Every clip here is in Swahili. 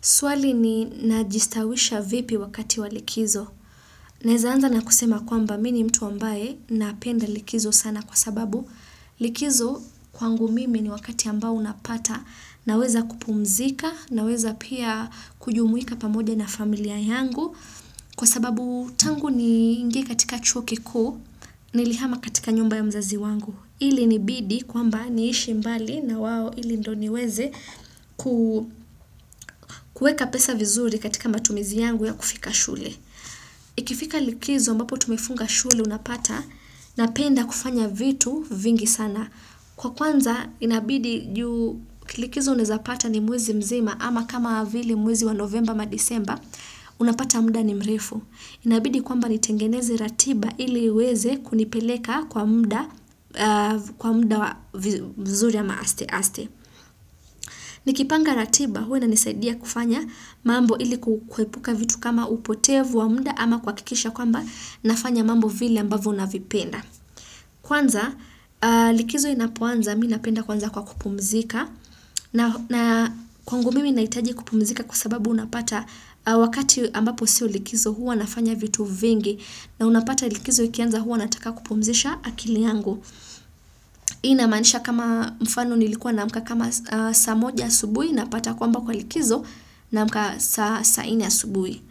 Swali ni najistawisha vipi wakati walikizo. Nawezaanza na kusema kwamba mimi ni mtu ambaye napenda likizo sana kwa sababu likizo kwangu mimi ni wakati ambao unapata naweza kupumzika naweza pia kujumuika pamoja na familia yangu. Kwa sababu tangu niingie katika chuo kikuu nilihama katika nyumba ya mzazi wangu. Ilinibidi kwamba niishi mbali na wao ili ndio niweze ku kuweka pesa vizuri katika matumizi yangu ya kufika shule. Ikifika likizo ambapo tumefunga shule unapata napenda kufanya vitu vingi sana. Kwa kwanza inabidi juu kilikizo unawezapata ni mwezi mzima ama kama vile mwezi wa novemba ama disemba unapata muda ni mrefu. Inabidi kwamba nitengeneze ratiba iliiweze kunipeleka kwa muda mzuri ama aste aste. Nikipanga ratiba huwa inanisaidia kufanya mambo ili kuepuka vitu kama upotevu wa muda ama kuhakikisha kwamba ninafanya mambo vile ambavyo navipenda. Kwanza likizo inapoanza mimi napenda kwanza kwa kupumzika. Na kwangu mimi nahitaji kupumzika kwa sababu unapata wakati ambapo sio likizo huwa nafanya vitu vingi na unapata likizo ikianza huwa nataka kupumzisha akili yangu. Inamaanisha kama mfano nilikuwa naamka kama saa moja asubuhi napata kwamba kwa likizo naamka saa nne asubuhi.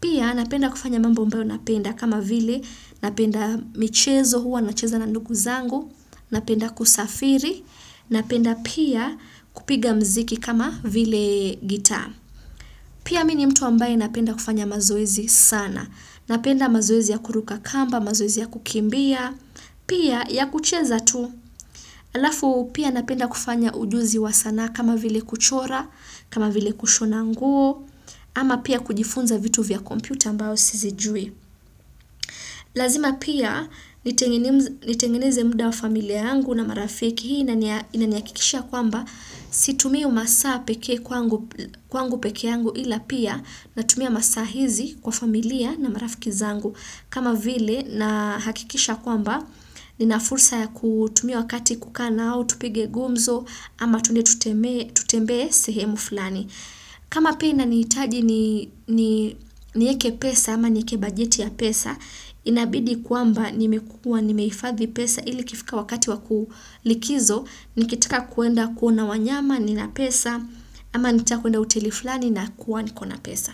Pia napenda kufanya mambo ambayo napenda kama vile napenda michezo huwa nacheza na ndugu zangu. Napenda kusafiri, napenda pia kupiga muziki kama vile gitaa. Pia mini mtu ambaye napenda kufanya mazoezi sana. Napenda mazoezi ya kuruka kamba, mazoezi ya kukimbia, pia ya kucheza tu. Halafu pia napenda kufanya ujuzi wa sana kama vile kuchora, kama vile kushona nguo, ama pia kujifunza vitu vya kompyuta ambao sizijui. Lazima pia nitengeneze muda wa familia yangu na marafiki hii inanihakikishia kwamba situmii masaa pekee kwangu pekee yangu ila pia natumia masaa hizi kwa familia na marafiki zangu. Kama vile nahakikisha kwamba ninafursa ya kutumia wakati kukanao, tupige gumzo ama twende tutembee sehemu fulani. Kama pia inanitaji niweke pesa ama niweke bajeti ya pesa, inabidi kwamba nimekua, nimehifathi pesa ili ikifika wakati wa likizo, nikitaka kwenda kuona wanyama nina pesa ama nataka kwenda hoteli fulani nakuwa nikona pesa.